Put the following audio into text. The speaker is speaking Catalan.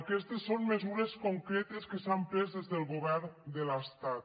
aquestes són mesures concretes que s’han pres des del govern de l’estat